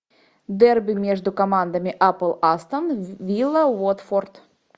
дерби между командами апл астон вилла уотфорд